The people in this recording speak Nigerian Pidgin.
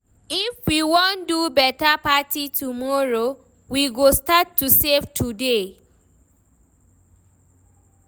If we wan do beta party tomorrow, we go start to save today.